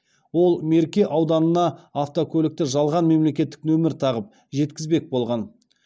ол мерке ауданына автокөлікті жалған мемлекеттік нөмір тағып жеткізбек болған